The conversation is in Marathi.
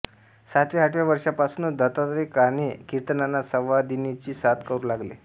सातव्याआठव्या वर्षापासूनच दत्तात्रय काणे किर्तनांना संवादिनीची साथ करू लागले